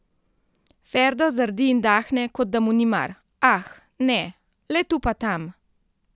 Ferdo zardi in dahne, kot da mu ni mar: ''Ah, ne, le tu pa tam ...